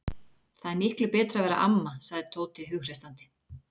Það er miklu betra að vera amma, sagði Tóti hughreystandi.